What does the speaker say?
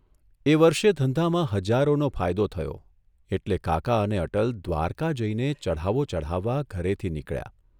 એ વર્ષે ધંધામાં હજારોનો ફાયદો થયો એટલે કાકા અને અટલ દ્વારકા જઇને ચઢાવો ચઢાવવા ઘરેથી નીકળ્યા.